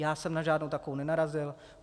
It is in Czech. Já jsem na žádnou takovou nenarazil.